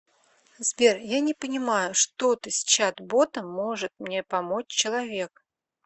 сбер я не понимаю что ты с чат ботом может мне помочь человек